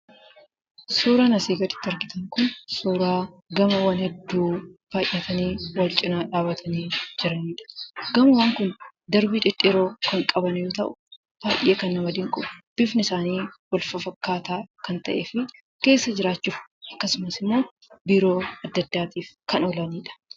Suuraan asii gaditti argitan kun suuraa gamoowwaan hedduu baay'atanii wal cinaa dhaabbatanii jiraniidha. Gamoowwaan kun darbii dhedheeroo kan qaban yoo ta'u, baay'ee kan nama dinqu bifti isaanii wal-fafakkaataa kan ta'ee fi keessa jiraachuuf, akkasumas immoo biiroo addaa addaatiif kan oolaniidha.